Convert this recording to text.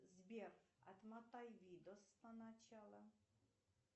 сбер отмотай видос на начало